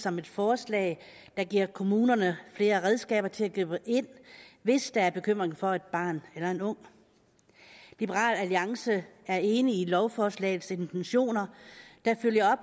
som et forslag der giver kommunerne flere redskaber til at gribe ind hvis der er bekymring for et barn eller en ung liberal alliance er enig i lovforslagets intentioner der følger